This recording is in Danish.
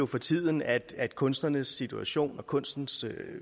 for tiden at kunstnernes situation og kunstens